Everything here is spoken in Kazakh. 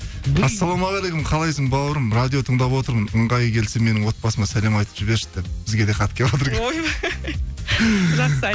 ассалаумағалекум қалайсың бауырым радио тыңдап отырмын ыңғайы келсе менің отбасыма сәлем айтып жіберші деп бізге де хат келіватыр жақсы